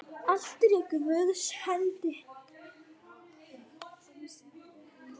Allt er í Guðs hendi.